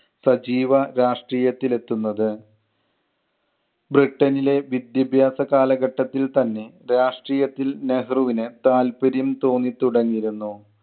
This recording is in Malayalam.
സജീവ രാഷ്ട്രീയത്തിൽ എത്തുന്നത്. ബ്രിട്ടണിലെ വിദ്യാഭ്യാസ കാലഘട്ടത്തിൽ തന്നെ രാഷ്ട്രീയത്തിൽ നെഹ്‌റുവിന് താല്പര്യം തോന്നി തുടങ്ങിയിരുന്നു.